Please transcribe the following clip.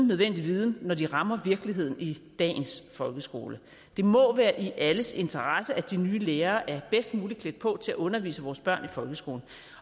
nødvendige viden når de rammer virkeligheden i dagens folkeskole det må være i alles interesse at de nye lærere er bedst muligt klædt på til at undervise vores børn i folkeskolen